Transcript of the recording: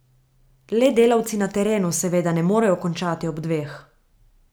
Le delavci na terenu seveda ne morejo končati ob dveh.